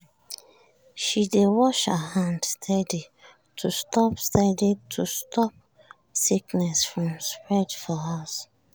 she dey wash her hands steady to stop steady to stop sickness from spread for house.